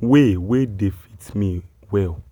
way wey dey fit me well.